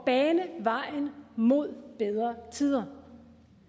bane vejen mod bedre tider